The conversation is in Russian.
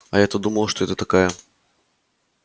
а я то думала что это такая